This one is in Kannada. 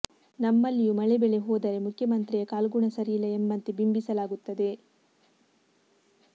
ನಮ್ಮಲ್ಲಿಯೂ ಮಳೆ ಬೆಳೆ ಹೋದರೆ ಮುಖ್ಯಮಂತ್ರಿಯ ಕಾಲ್ಗುಣ ಸರಿಯಿಲ್ಲ ಎಂಬಂತೆ ಬಿಂಬಿಸಲಾಗುತ್ತದೆ